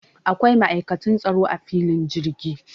Akwai ma'aikatan tsaro a filin jirgi